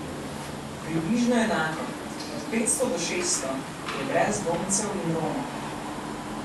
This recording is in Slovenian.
Približno enako, od petsto do šeststo, je brezdomcev in Romov.